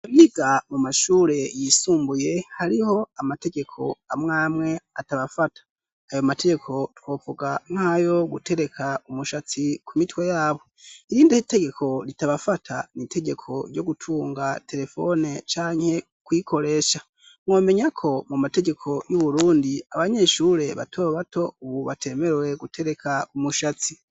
Abiga mu mashure yisumbuye hariho amategeko amwe amwe atabafata, ayo mategeko twovuga nkayo gutereka umushatsi ku mitwe yabo, iyindi tegeko ritabafata ni itegeko ryo gutunga terefone canke kuyikoresha mwomenya ko mu mategeko y'Uburundi abanyeshure bato bato ubu batemerwe gutereka umushatsi.